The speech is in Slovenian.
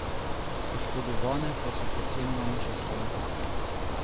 Oškodovane pa so predvsem manjše stranke.